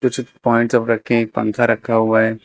कुछ रखे एक पंखा रखा हुआ है।